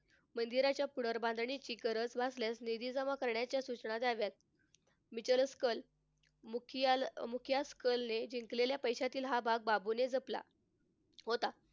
मंदिराच्या पुनर्बांधणीची गरज भासल्यास निधी जमा करण्याच्या सूचना द्याव्यात. मिचलंस कल मुखियाल मुख्यास कळले जिंकलेल्या पैशातील हा भाग बाबूने जपला. होता.